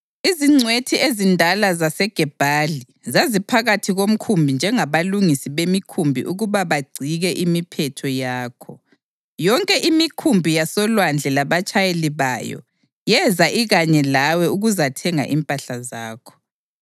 Izingcwethi ezindala zaseGebhali zaziphakathi komkhumbi njengabalungisi bemikhumbi ukuba bagcike imiphetho yakho. Yonke imikhumbi yasolwandle labatshayeli bayo yeza ikanye lawe ukuzathenga impahla zakho.